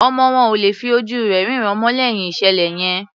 Ọmọ wọn ò lè fí ojú rẹ̀ rínràn mọ́ lẹ́yìn ìṣẹ̀lẹ̀ yẹn.